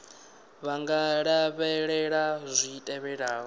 vha nga lavhelela zwi tevhelaho